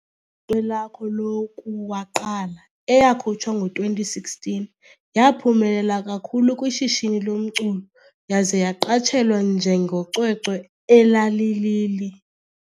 Cwecwe lwakho lokuwaqala, eyakhutshwa ngo 2016, yaphumelela kakhulu kwi shishini lomculo yaze yaqatshelwa njengocwecwe elalili.